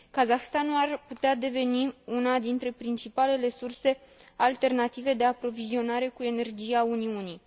Kazahstanul ar putea deveni una dintre principalele surse alternative de aprovizionare cu energie a Uniunii.